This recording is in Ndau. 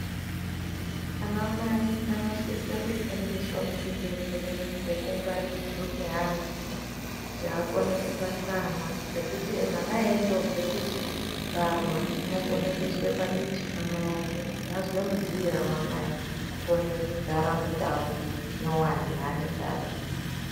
Vana mai vanosise kufundiswa kuchibhehlera zvekungwarirwa zvevana kuti akone kungwarira vana ngekuti mwana eindobve kubarwa ukokona kuiswa paditi pamai ake azwe mudziira wamai ake akone kugara mundau nyuwani yapinda